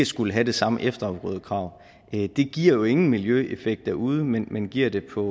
skulle have det samme efterafgrødekrav det giver jo ingen miljøeffekt derude men men giver det på